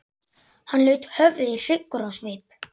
Hann laut höfði hryggur á svip.